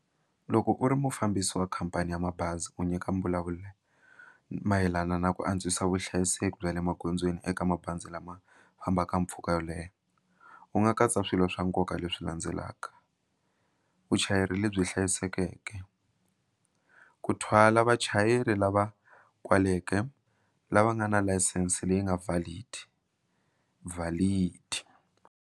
Loko u ri mufambisi wa khampani ya mabazi u nyika mi vulavula mayelana na ku antswisa vuhlayiseki bya le magondzweni eka mabazi lama fambaka mpfhuka wo leha u nga katsa swilo swa nkoka leswi landzelaka vuchayeri lebyi hlayisekeke ku thwala vachayeri lava kwaleke lava nga na layisense leyi nga valid vhalidi.